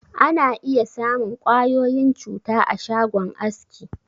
Ana iya samun ƙwayoyin cuta a shagon aski.